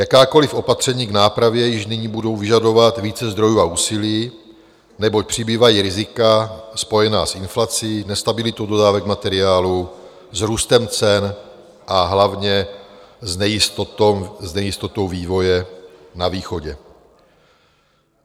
Jakákoliv opatření k nápravě již nyní budou vyžadovat více zdrojů a úsilí, neboť přibývají rizika spojená s inflací, nestabilitou dodávek materiálu, s růstem cen a hlavně s nejistotou vývoje na východě.